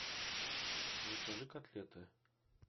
закажи котлеты